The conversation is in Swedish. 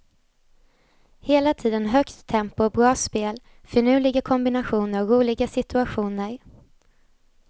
Hela tiden högt tempo och bra spel, finurliga kombinationer och roliga situationer.